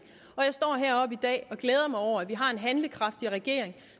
jeg står heroppe i dag og glæder mig over at vi har en handlekraftig regering